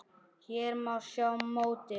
Hér má sjá mótið.